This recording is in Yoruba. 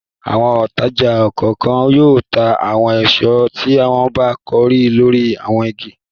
Àwọn òǹtajà kọ̀ọ̀kan yóò ta àwọn èso tí wọ́n bá kórè lórí àwọn igi.